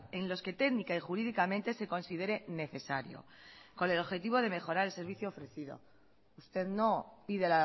en los que técnica y jurídicamente se considere necesario con el objetivo de mejorar el servicio ofrecido usted no pide